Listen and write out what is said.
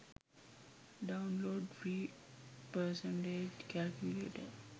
download free percentage calculator